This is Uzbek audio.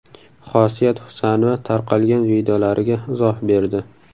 Xosiyat Husanova tarqalgan videolariga izoh berdi.